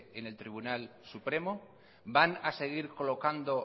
en el tribunal supremo van a seguir colocando